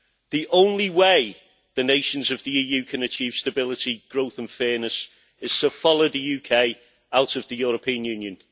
The only way the nations of the EU can achieve stability, growth and fairness is to follow the UK out of the European Union.